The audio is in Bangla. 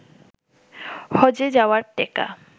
হজ্বে যাওয়ার টেকা